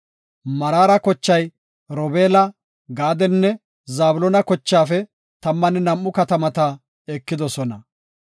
Meraara kochay, Robeela, Gaadenne Zabloona kochaafe tammanne nam7u katamata ekidosona.